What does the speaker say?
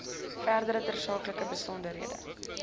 verdere tersaaklike besonderhede